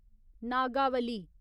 Nagavali